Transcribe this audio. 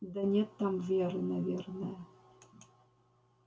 да нет там веры наверное